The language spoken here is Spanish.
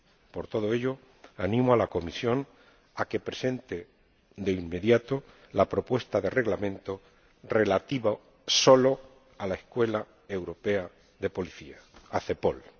Por todo ello, animo a la Comisión a que presente de inmediato la propuesta de Reglamento relativo solo a la Escuela Europea de Policía, a CEPOL.